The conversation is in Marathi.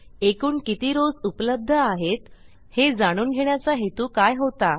एकूण किती रॉव्स उपलब्ध आहेत हे जाणून घेण्याचा हेतू काय होता